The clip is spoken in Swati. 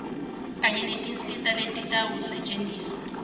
kanye netinsita letitawusetjentiswa